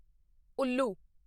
ਉੱਲੂ